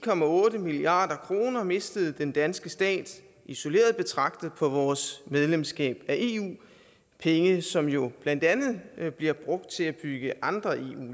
milliard kroner mistede den danske stat isoleret betragtet på vores medlemskab af eu penge som jo blandt andet bliver brugt til at bygge andre eu